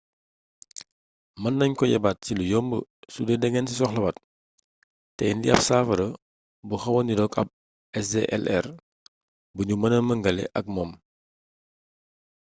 mën nañ ko yebbaat ci lu yomb sudee da ngeen ci soxlawaat te indi ab saafara bu xawa nirook ab sdlr buñu mêna méngale ak moom